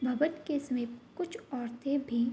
भवन के समीप कुछ औरतें भी --